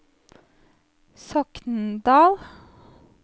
Sokndal